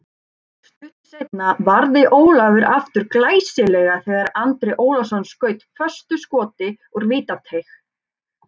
Stuttu seinna varði Ólafur aftur glæsilega þegar Andri Ólafsson skaut föstu skoti úr vítateig.